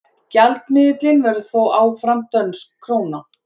gjaldmiðillinn verður þó áfram dönsk króna